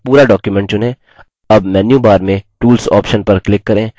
अब menu bar में tools option पर click करें